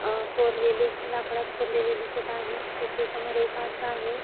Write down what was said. अं कोरलेले नकळत कोरलेले दिसत आहे तिथे समोर एक आरसा आहे.